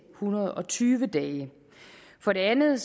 hundrede og tyve dage for det andet